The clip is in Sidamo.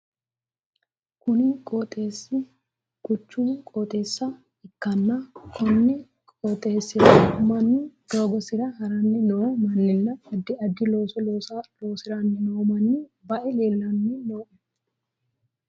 Kunni qooxeesi quchumu qooxeessa ikanna konni qooxeesira Manu dilgosira haranni noo manninna addi addi looso loosiranni noo manni bae leelanni no.